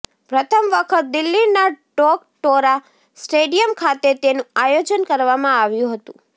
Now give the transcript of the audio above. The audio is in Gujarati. પ્રથમ વખત દિલ્હીના ટોકટોરા સ્ટેડિયમ ખાતે તેનું આયોજન કરવામાં આવ્યું હતું